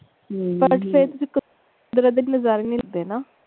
ਹਮ ਫਿਰ ਏਦਾਂ ਲਗਦਾ ਜਿਵੇਂ ਨਜਾਰੇ ਨਹੀਂ ਲਿੱਤੇ ਨਾ।